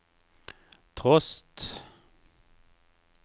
trost